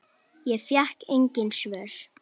Ég fékk engin svör.